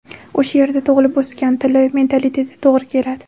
O‘sha yerda tug‘ilib o‘sgan, tili, mentaliteti to‘g‘ri keladi.